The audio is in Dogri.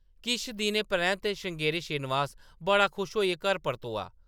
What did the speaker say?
किश दिनें परैंत्त श्रृंगेरी श्रीनिवास बड़ा खुश होइयै घर परतोआ ।